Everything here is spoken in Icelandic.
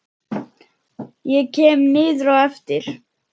Ég kem niður á eftir.